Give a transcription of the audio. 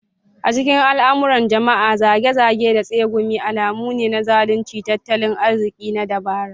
A cikin al'amuran jama'a, zage-zage da tsegumi alamu ne na zaluncin tattalin arziki na dabara.